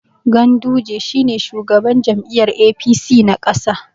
Ganduje shi ne shugaban jam'iyyar APC na ƙasa.